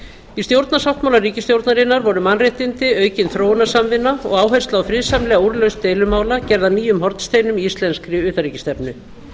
í stjórnarsáttmála ríkisstjórnarinnar voru mannréttindi aukin þróunarsamvinna og áhersla á friðsamlega úrlausn deilumála gerð að nýjum hornsteinum í íslenskri utanríkisstefnu